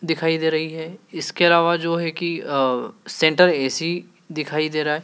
दिखाई दे रही है इसके अलावा जो है कि अ सेन्ट्रल ए_सी दिखाई दे रहा है।